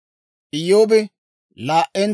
Iyyoobi zaariide,